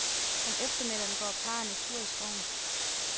Om eftermiddagen går parrene tur i skoven.